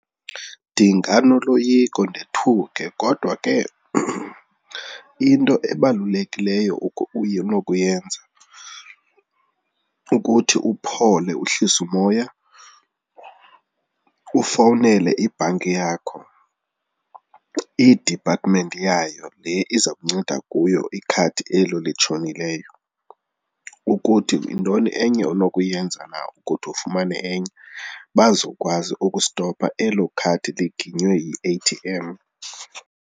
Ndinganoloyiko ndothuke kodwa ke into ebalulekileyo unokuyenza kukuthi uphole uhlise umoya, ufowunele ibhanki yakho, idipathimenti yayo le iza kunceda kuyo ikhadi elo litshonileyo ukuthi yintoni enye onokuyenza na ukuthi ufumane enye. Bazokwazi ukustopha elo khadi liginywe yi-A_T_M.